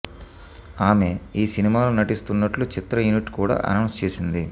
ఆమె ఈ సినిమాలో నటిస్తున్నట్లు చిత్ర యూనిట్ కూడా అనౌన్స్ చేసింది